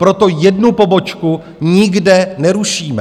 Proto jednu pobočku nikde nerušíme.